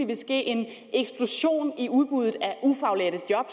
vil ske en eksplosion i udbuddet af ufaglærte job